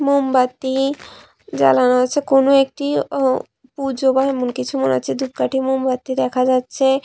মোমবাতি জ্বালানো আছে কোনো একটি আঃ পুজো বা এমন কিছু মনে হচ্ছে ধুপকাঠি মোমবাতি দেখা যাচ্ছে।